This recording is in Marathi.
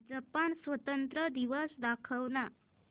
जपान स्वातंत्र्य दिवस दाखव ना